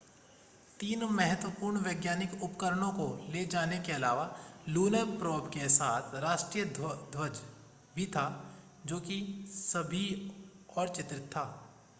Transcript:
तीन महत्वपूर्ण वैज्ञानिक उपकरणों को ले जाने के अलावा लूनर प्रोब के साथ भारतीय राष्ट्रीय ध्वज भी था जो कि सभी और चित्रित था